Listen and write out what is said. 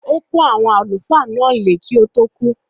Ó pọ́n “àwọn àlùfáà ” náà lé kí ó tó kú.